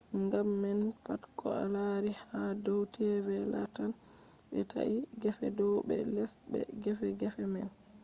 gam man pat ko a laari ha dow tv lattan ɓe ta’i gefe dow be les be gefe gefe man